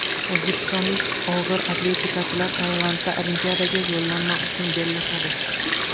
O‘zbekistonlik og‘ir atletikachilar Tailandda Olimpiadaga yo‘llanma uchun bellashadi.